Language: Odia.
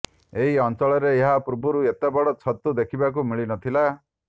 ଏହି ଅଞ୍ଚଳରେ ଏହା ପୂର୍ବରୁ ଏତେ ବଡ ଛତୁ ଦେଖବାକୁ ମିଳିନଥିଲା